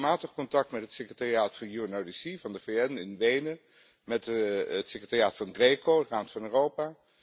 Ik heb regelmatig contact met het secretariaat van UNODC, van de VN, in Wenen, met het secretariaat van GRECO van de Raad van Europa.